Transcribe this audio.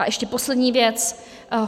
A ještě poslední věc.